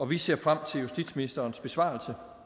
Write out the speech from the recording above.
vi ser frem til justitsministerens besvarelse